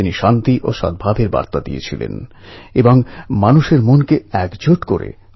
আমি ব্রেনড্রেনকে ব্রেনগেইনএ বদলে ফেলার অনুরোধ জানিয়েছিলাম